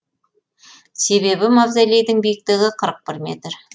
себебі мавзолейдің биіктігі қырық бір метр